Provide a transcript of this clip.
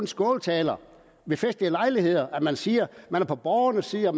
skåltaler ved festlige lejligheder at man siger at man er på borgernes side og